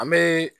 An bɛ